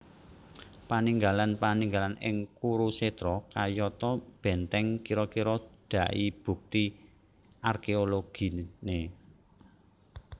Paninggalan paninggalan ing Kurusetra kayata bèntèng kira kira dai bukti arkeologine